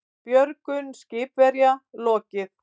Björgun skipverja lokið